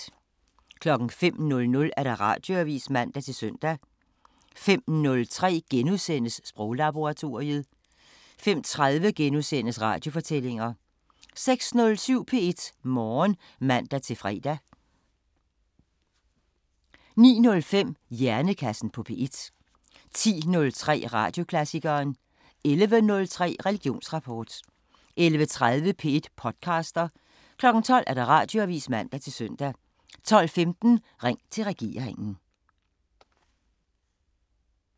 05:00: Radioavisen (man-søn) 05:03: Sproglaboratoriet * 05:30: Radiofortællinger * 06:07: P1 Morgen (man-fre) 09:05: Hjernekassen på P1 10:03: Radioklassikeren 11:03: Religionsrapport 11:30: P1 podcaster 12:00: Radioavisen (man-søn) 12:15: Ring til regeringen